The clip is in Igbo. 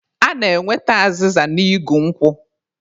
A na-enweta azịza n'igu nkwụ.